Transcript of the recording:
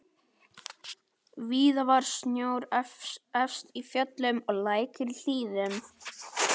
Víða var snjór efst í fjöllum og lækir í hlíðum.